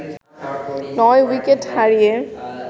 ৯ wicket হারিয়ে